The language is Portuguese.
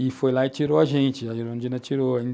E foi lá e tirou a gente, a Erundina tirou.